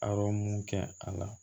Arɔ mun kɛ a la